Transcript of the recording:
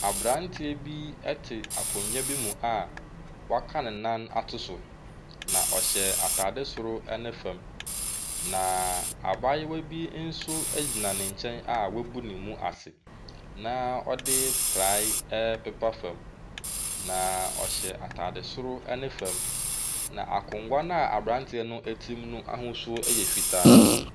Aberanteɛ bi te akonnwa bi mu a waka ne nan ato so, na ɔhyɛ atade soro ne fam, na abayewa bi nso gyina ne nkyɛn a wabu ne mu ase na ɔde praeɛ repepa fa, na ɔhyɛ atade soro ne fam, na akonnwa no a aberanteɛ no te mu no ahosuo yɛ fitaa.